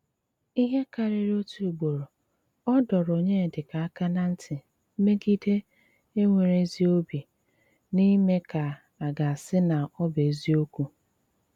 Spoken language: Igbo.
Íhé kárírí ótú ugboró, ọ́ dọ́rọ́ Ọnyédíkà áká ná ntí mègídè énwéré ézí òbí ná ímé kà à gá-ásí ná ọ́ bụ́ ézíòkwù.